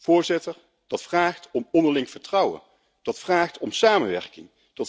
Voorzitter, dat vraagt om onderling vertrouwen en samenwerking.